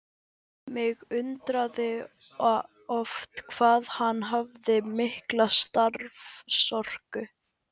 Mig undraði oft hvað hann hafði mikla starfsorku.